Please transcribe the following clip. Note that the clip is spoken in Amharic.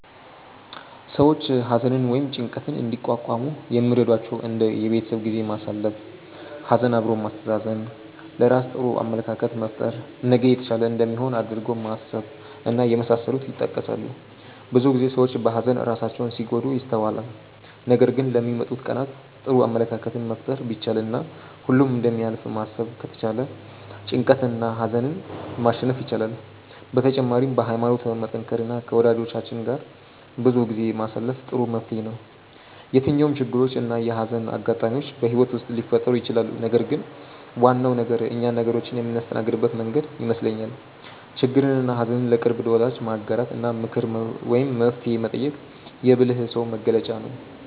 ሰዎች ሀዘንን ወይም ጭንቀትን እንዲቋቋሙ የሚረዷቸው እንደ የቤተሰብ ጊዜ ማሳለፍ፣ ሀዘን አብሮ ማስተዛዘን፣ ለራስ ጥሩ አመለካከት መፍጠር፣ ነገ የተሻለ እንደሚሆን አድርጎ ማሰብ እና የመሳሰሉት ይጠቀሳሉ። ብዙ ጊዜ ሰዎች በሀዘን ራሳቸውን ሲጎዱ ይስተዋላል ነገር ግን ለሚመጡት ቀናት ጥሩ አመለካከትን መፍጠር ቢቻል እና ሁሉም እንደሚያልፍ ማሰብ ከተቻለ ጭንቀትንና ሀዘንን ማሸነፍ ይቻላል። በተጨማሪም በሀይማኖት መጠንከር እና ከወጃጆቻችን ጋር ጊዜ ማሳለፍ ጥሩ መፍትሔ ነው። የትኛውም ችግሮች እና የሀዘን አጋጣሚዎች በህይወት ውስጥ ሊፈጠሩ ይችላሉ ነገር ግን ዋናው ነገር እኛ ነገሮችን የምናስተናግድበት መንገድ ይመስለኛል። ችግርንና ሀዘን ለቅርብ ወዳጅ ማጋራት እና ምክር ወይም መፍትሔ መጠየቅ የብልህ ሰው መገለጫ ነው።